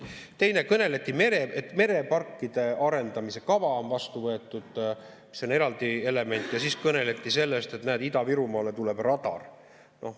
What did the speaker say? Teiseks kõneldi, et mereparkide arendamise kava on vastu võetud, mis on eraldi element, ja siis kõneldi sellest, et näete, Ida-Virumaale tuleb radar.